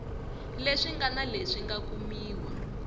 leswi ngana leswi nga kumiwa